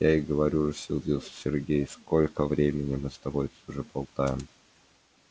я и говорю рассердился сергей сколько времени мы уже с тобой тут болтаем